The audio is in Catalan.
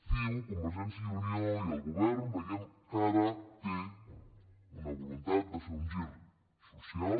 ciu convergència i unió i el govern veiem que ara tenen una voluntat de fer un gir social